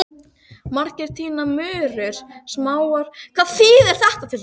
Á þessum stólpum höfðu Bretar haft fallbyssurnar í stríðinu.